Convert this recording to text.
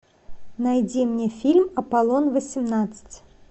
найди мне фильм аполлон восемнадцать